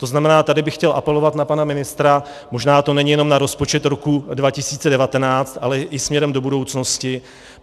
To znamená, tady bych chtěl apelovat na pana ministra, možná to není jenom na rozpočet roku 2019, ale i směrem do budoucnosti.